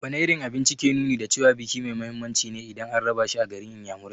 Wane irin abinci ke nuni da cewa biki mai muhimmanci ne idan an raba shi a garin inyamurai?